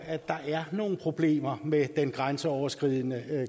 at der er nogle problemer med den grænseoverskridende